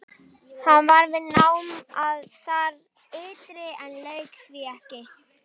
Hann var við nám þar ytra en lauk því ekki.